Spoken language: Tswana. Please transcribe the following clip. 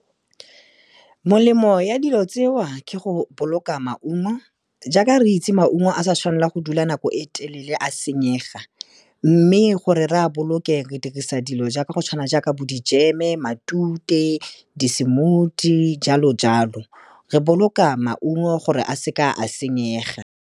Molemo ya dilo tseo ke go boloka maungo, jaaka re itse maungo a sa tshwanelang go dula nako e telele a senyega. Mme gore re a boloke, re dirisa dilo jaaka go tshwana jaaka bo dijeme, matute, di-smoothie jalo-jalo. Re boloka maungo gore a seke a senyega.